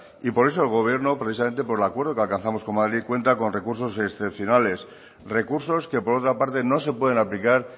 y por eso el gobierno precisamente por el acuerdo que alcanzamos cuenta con recursos excepcionales recursos que por otra parte no se pueden aplicar